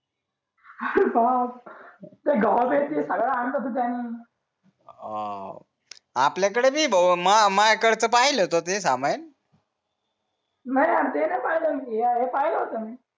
हो आपल्या कडे बिन मार्ट कडच पाहिलं तर ते समायेन नाही यार ते नाही पायल मी हे हे पायल होत मी